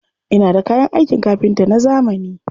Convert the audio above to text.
Ina da kayan aikin kafinta na zamani.